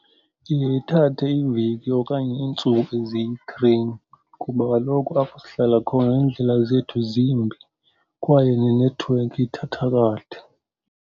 Iye ithathe iveki okanye iintsuku eziyi-three, kuba kaloku apho sihlala khona iindlela zethu zimbi kwaye nenethiwekhi ithatha kade.